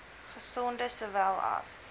gesonde sowel as